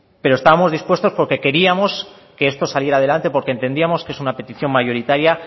pero estábamos dispuestos porque queríamos que esto saliera adelante porque entendíamos que es una petición mayoritaria